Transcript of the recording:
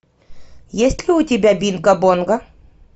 есть ли у тебя бинго бонго